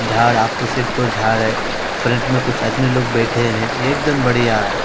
झाड़ा झाड़ कुछ आदमी लोग बैठे हैं एकदम बढ़िया है।